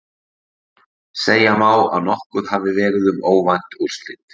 Segja má að nokkuð hafi verið um óvænt úrslit.